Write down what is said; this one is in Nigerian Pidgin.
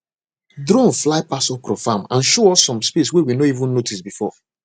drone fly pass okra farm and show us some space we no even notice before